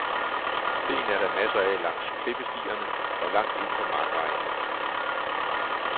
Sten er der masser af langs klippestierne og langt ind på markvejene.